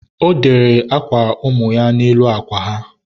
ọ dere akwa ụmụ ya n'elu akwa ha.